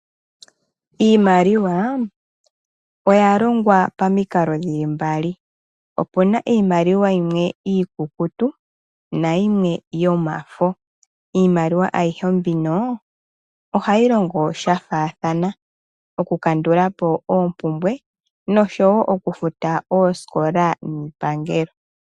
Iimaliwa oya longwa pomikalo dhi li mbali opu na iimaliwa yimwe iikukutu nayimwe yomafo. Iimaliwa ayihe mbino ohayi longo sha faathana okukandula po oompumbwe oshowo okufuta oosikola niipangelo.